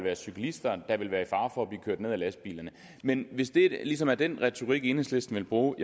være cyklister der vil være i fare for at blive kørt ned af lastbilerne men hvis det ligesom er den retorik enhedslisten vil bruge